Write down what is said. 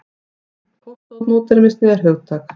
Póstmódernismi er hugtak.